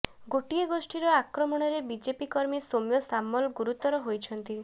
ଗୋଟିଏ ଗୋଷ୍ଠୀର ଆକ୍ରମଣରେ ବିଜେପି କର୍ମୀ ସୌମ୍ୟ ସାମଲ ଗୁରୁତର ହୋଇଛନ୍ତି